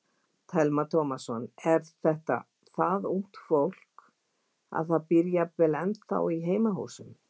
Telma Tómasson: Er þetta það ungt fólk að það býr jafnvel ennþá í heimahúsum?